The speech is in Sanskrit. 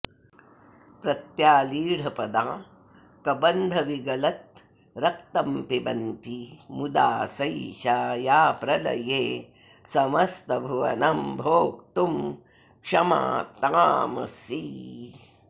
प्रत्यालीढपदा कबन्धविगलद्रक्तम्पिबन्ती मुदा सैषा या प्रलये समस्तभुवनं भोक्तुं क्षमा तामसी